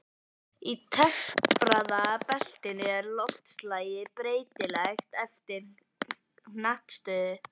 Í tempraða beltinu er loftslagið breytilegt eftir hnattstöðu.